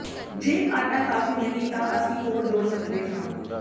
ਜੇ ਆਟਾ ਕਾਫ਼ੀ ਨਹੀਂ ਹੈ ਤਾਂ ਅਸੀਂ ਹੋਰ ਜੋੜ ਸਕਦੇ ਹਾਂ